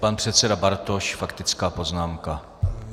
Pan předseda Bartoš, faktická poznámka.